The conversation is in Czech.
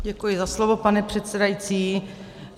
Děkuji za slovo, pane předsedající.